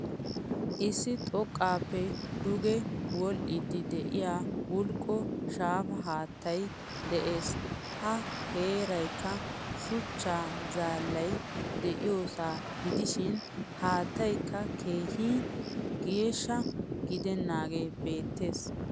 Issi xoqqappe duge wodhdhidi de'iya bulqqo shaafa haattaay de'ees. Ha heeraykka shuchcha zaallay de'iyosa gidishin haattaaykka keehin geeshsha gidenage beettees.